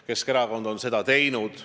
Keskerakond on seda teinud.